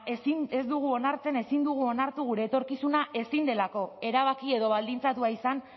ez dugu onartzen ezin dugu onartu gure etorkizuna ezin delako erabaki edo baldintzatua izan